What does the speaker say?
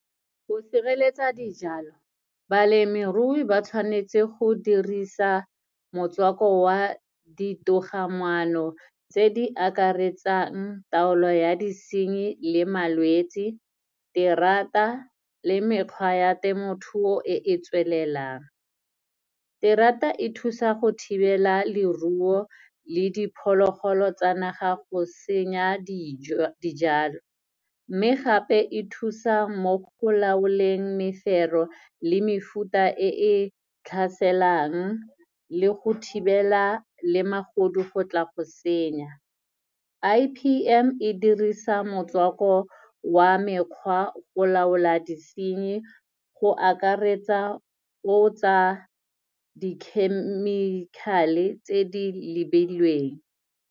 Go sireletsa dijalo, balemirui ba tshwanetse go dirisa motswako wa di togamaano tse di akaretsang taolo ya disenyi le malwetsi, terata le mekgwa ya temothuo e e tswelelang. Terata e thusa go thibela leruo le diphologolo tsa naga go senya dijo, dijalo. Mme gape, e thusa mo go laolweng mefero le mefuta e e tlhaselang, le go thibela le magodu go tla go senya. I_P_M e dirisa motswako wa mekgwa go laola disenyi go akaretsa o tsa di-chemical-e tse di lebilweng.